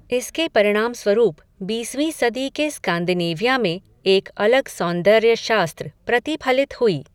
इसके परिणाम स्वरूप, बीसवीं सदी के स्कान्दिनेविया में, एक अलग सौन्दर्य शास्त्र प्रतिफलित हुई